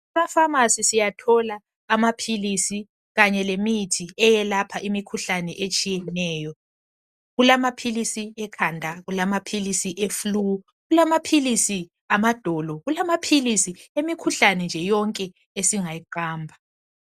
EmaFamasi siyathola amaphilisi kanye lemithi eyelapha imikhuhlane etshiyeneyo kulamaphilisi ekhanda kulamaphilisi eflu kulamaphilisi amadolo kulamaphilisi emikhuhlane nje yonke esingayiqamba.